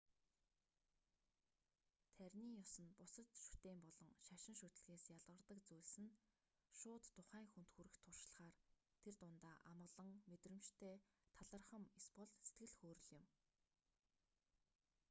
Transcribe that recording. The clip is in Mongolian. таринын ёс нь бусад шүтээн болон шашин шүтлэгээс ялгардаг зүйлс нь шууд тухайн хүнд хүрэх туршлагаар тэр дундаа амгалан мэдрэмжтэй талархам эсбол сэтгэл хөөрөл юм